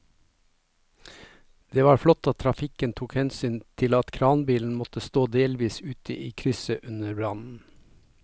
Det var flott at trafikken tok hensyn til at kranbilen måtte stå delvis ute i krysset under brannen.